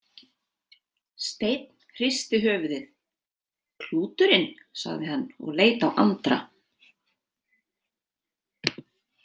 Steinn hristi höfuðið: Klúturinn, sagði hann og leit á Andra.